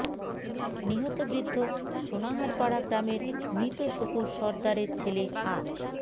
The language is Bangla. নিহত বৃদ্ধ সোনাহারপাড়া গ্রামের মৃত শুকুর সরদারের ছেলে আ